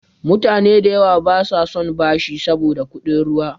Mutane da yawa basa son bashi saboda kuɗin ruwa.